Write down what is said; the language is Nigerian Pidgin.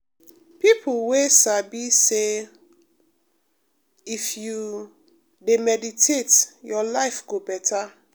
people wey sabi say um if you um dey meditate your life go better